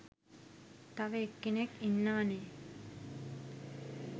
තව එක්කෙනෙක් ඉන්නව නේ?